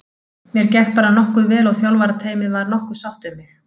Mér gekk bara nokkuð vel og þjálfarateymið var nokkuð sátt við mig.